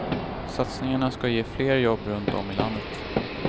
Satsningarna ska ge fler jobb runt om i landet.